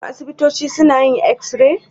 Shin asibitoci suna yin x-ray?